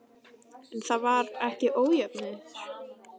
En var ekki ójöfnuður?